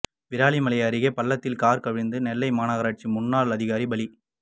விராலிமலை அருகேபள்ளத்தில் காா் கவிழ்ந்து நெல்லை மாநகராட்சி முன்னாள் அதிகாரி பலி